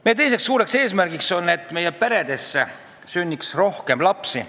Meie teine suur eesmärk on, et Eesti peredesse sünniks rohkem lapsi.